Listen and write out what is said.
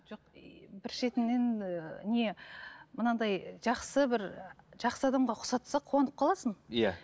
жоқ иии бір шетінен ііі не мынандай жақсы бір жақсы адамға ұқсатса қуанып қаласың иә